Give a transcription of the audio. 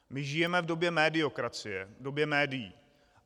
My žijeme v době mediokracie, v době médií.